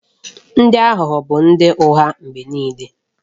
Ndị aghụghọ bụ ndị ụgha mgbe niile